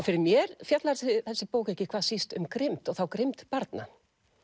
fyrir mér fjallar þessi bók ekki hvað síst um grimmd og þá grimmd barna